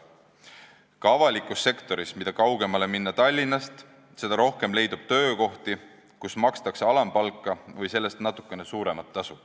Ka avalikus sektoris on nii, et mida kaugemale Tallinnast minna, seda rohkem leidub töökohti, kus makstakse alampalka või sellest natukene suuremat tasu.